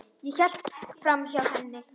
Ég hélt framhjá henni.